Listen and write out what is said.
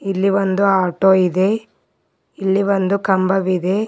ಇಲ್ಲಿ ಒಂದು ಆಟೋ ಇದೆ ಇಲ್ಲಿ ಒಂದು ಕಂಬವಿದೆ.